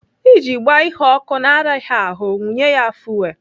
Iji gbaa ihe ọkụ na-araghị ahụ, wunye ya fuwel.